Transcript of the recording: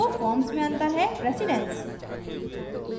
दो फॉर्म्स मे अंतर है प्रेसिडन्स